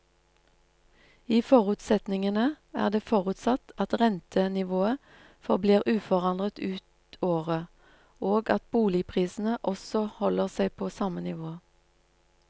I forutsetningene er det forutsatt at rentenivået forblir uforandret ut året og at boligprisene også holder seg på samme nivå.